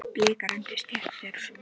Bikar undir stétt er sú.